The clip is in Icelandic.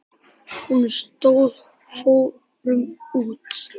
Á honum stóð: Fórum út!